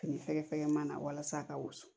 Fini fɛgɛfɛgɛman na walasa a ka wusu